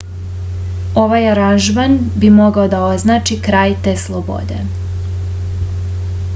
ovaj aranžman bi mogao da označi kraj te slobode